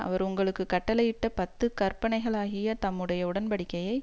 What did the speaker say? அவர் உங்களுக்கு கட்டளையிட்ட பத்து கற்பனைகளாகிய தம்முடைய உடன்படிக்கையை